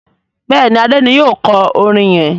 Béèni Ade ní yíò kò orin yén.